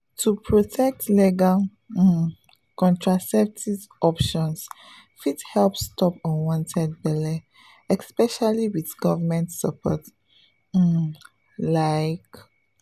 to protect legal um contraceptive options fit help stop unwanted belle especially with government support um like.